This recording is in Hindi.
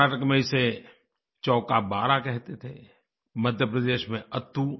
कर्नाटक में इसे चौकाबारा कहते थे मध्यप्रदेश में अत्तू